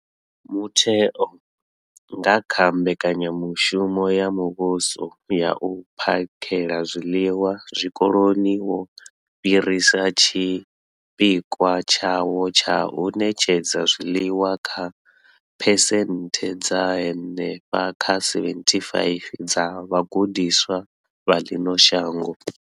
Mutheo, nga kha Mbekanya mushumo ya Muvhuso ya U phakhela zwiḽiwa Zwikoloni, wo fhirisa tshipikwa tshawo tsha u ṋetshedza zwiḽiwa kha phesenthe dza henefha kha 75 dza vhagudiswa vha ḽino shango.